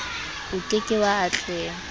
o ke ke wa atleha